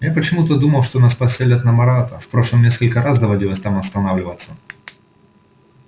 я почему-то думал что нас поселят на марата в прошлом несколько раз доводилось там останавливаться